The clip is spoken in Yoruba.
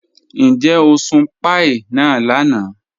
Níjẹ̀ o sùn pàíí náà lànà?